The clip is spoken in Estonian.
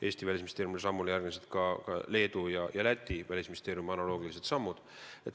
Eesti Välisministeeriumi sammule järgnesid ka Leedu ja Läti välisministeeriumi analoogilised sammud.